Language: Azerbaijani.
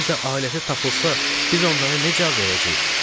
Bir də ailəsi tapılsa, biz onları necə cavab verəcəyik?